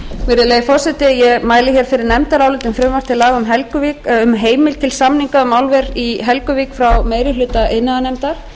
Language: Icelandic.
virðulegi forseti ég mæli hér fyrir nefndaráliti um frumvarp til laga um heimild til samninga um álver í helguvík frá meiri hluta iðnaðarnefndar